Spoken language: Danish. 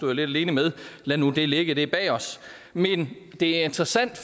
jeg lidt alene med lad nu det ligge for det er bag os men det er interessant